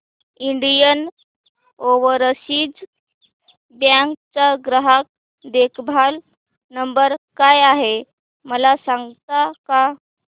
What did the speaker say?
Indian Overseas Bank चा ग्राहक देखभाल नंबर काय आहे मला सांगता का